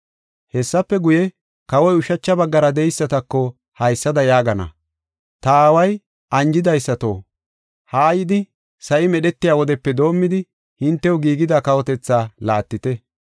“Hessafe guye, kawoy ushacha baggara de7eysatako haysada yaagana: ‘Ta Aaway anjidaysato, ha yidi sa7i medhetiya wodepe doomidi hintew giigida kawotetha laattite.